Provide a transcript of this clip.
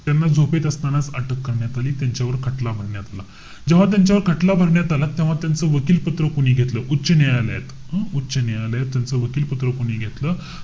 त्यांना झोपेत असतानाच अटक करण्यात आली. त्यांच्यावर खटला भरण्यात आला. जेव्हा त्याच्यावर खटला भरण्यात आला. तेव्हा त्याचं वकीलपत्र कोणी घेतलं? उच्च न्यायालयात. हं? उच्च न्यायालयात त्यांचं वकीलपत्र कोणी घेतलं?